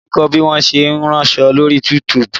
Bísí ń kọ́ bí wọn ṣe ń ránṣọ lóri YouTube